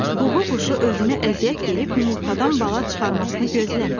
Ququ quşu özünə əziyyət verib yumurtadan bala çıxarmasını gözləmir.